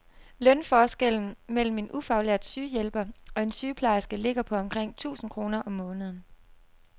Lønforskellen mellem en ufaglært sygehjælper og en sygeplejerske ligger på omkring tusind kroner om måneden.